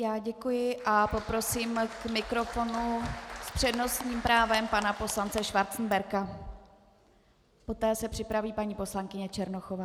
Já děkuji a poprosím k mikrofonu s přednostním právem pana poslance Schwarzenberga, poté se připraví paní poslankyně Černochová.